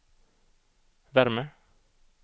värme